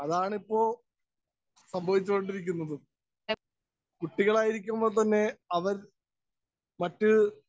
Speaker 1 അതാണിപ്പോ സംഭവിച്ചു കൊണ്ടിരിക്കുന്നതും. കുട്ടികളായിരിക്കുമ്പോള്‍ തന്നെ അവര്‍ മറ്റ്